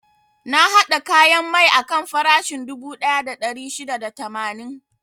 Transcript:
Na haɗa kayan mai akan farashin dubu ɗaya da ɗari shida da tamanin.